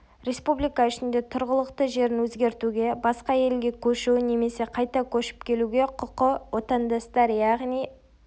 республика ішінде тұрғылықты жерін өзгертуге басқа елге көшу немесе қайта көшіп келуге құқы отандастар яғни